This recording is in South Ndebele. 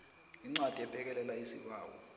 incwadi ephekelela isibawo